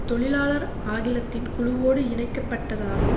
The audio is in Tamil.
தொழிலாளர் அகிலத்தின் குழுவோடு இணைக்கப்பட்டதாகும்